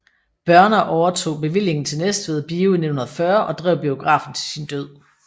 Børner overtog bevillingen til Næstved Bio i 1940 og drev biografen til sin død